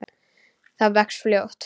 Það vex fljótt.